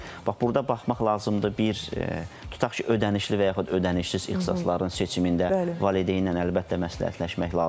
Bax burda baxmaq lazımdır, bir tutaq ki, ödənişli və yaxud ödənişsiz ixtisasların seçimində valideynlə əlbəttə məsləhətləşmək lazımdır.